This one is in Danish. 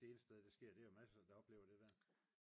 det eneste sted det sker det er der jo masser af der oplever det der